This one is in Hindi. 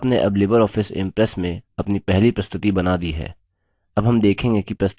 आपने अब लिबर ऑफिस impress में अपनी पहली प्रस्तुति बना दी है